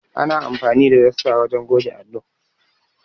Ana amfani da dasta wajen goge allo.